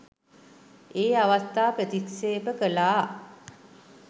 ඒ අවස්ථා ප්‍රතික්ෂේප කළා.